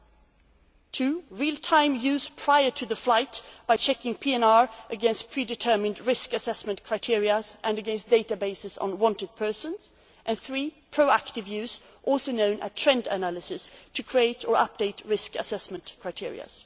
flight. Secondly, real time use prior to the flight, by checking PNR against pre determined risk assessment criteria and against databases on wanted persons. Thirdly, there is pro active use also known as trend analysis to create or update risk assessment criteria.